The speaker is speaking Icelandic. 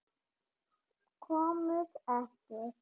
Komust ekkert.